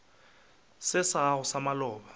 se sa gago sa maloba